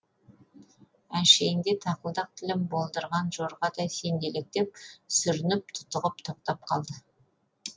әншейінде тақылдақ тілім болдырған жорғадай сенделектеп сүрініп тұтығып тоқтап қалды